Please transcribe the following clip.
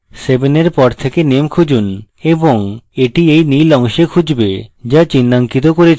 7 এর পর থেকে naam খুঁজুন এবং এটি এই নীল অংশে খুঁজবে so চিহ্নঙ্কিত করেছি